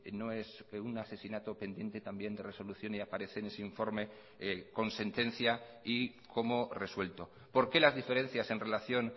no es un asesinato pendiente también de resolución y aparece en ese informe con sentencia y como resuelto por qué las diferencias en relación